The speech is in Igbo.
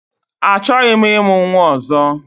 Achọghị m ịmụ nnwa ozo